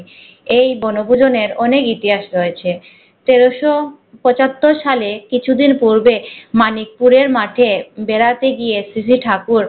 এই বনভূজনের অনেক ইতিহাস রয়েছে তেরশ পঁচাত্তর সালে কিছু দিন পূর্বে মানিকপুরে মাঠে বেড়াতে গিয়ে শ্রীজী ঠাকুর